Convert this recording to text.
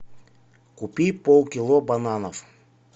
купи полкило бананов